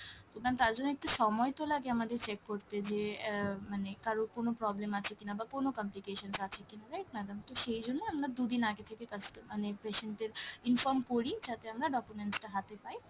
তো ma'am তার জন্য তো একটু সময় তো লাগে আমাদের check করতে যে আহ মানে কারোর কোনো problem আছে কিনা বা কোনো complications আছে কিনা right madam? তো সেইজন্য আমরা দু'দিন আগে থেকে কাস্ট~ মানে patient দের inform করি যাতে আমরা documents টা হাতে পাই,